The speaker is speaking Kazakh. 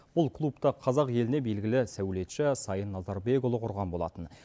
бұл клубты қазақ еліне белгілі сәулетші сайын назарбекұлы құрған болатын